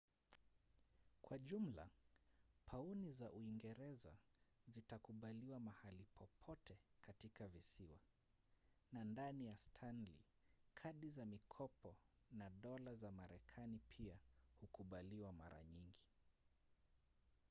kwa jumla pauni za uingereza zitakubaliwa mahali popote katika visiwa na ndani ya stanley kadi za mikopo na dola za marekani pia hukubaliwa mara nyingi